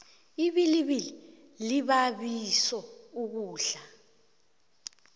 ibilibili libabiso ukudla